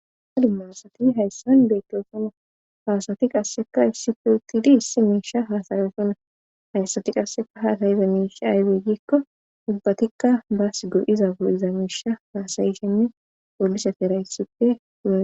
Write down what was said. ha dumma asati hayssan beettosona haasati qasseka ifsi putidi hissi miisha haasayeosonna haysati qasseka haatayiza miisha aydey gikko dubbatikka baas go7iza u7iza miisha haasayishenne oolise ferayysippe ua